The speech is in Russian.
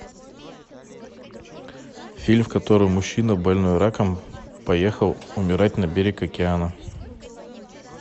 фильм в котором мужчина больной раком поехал умирать на берег океана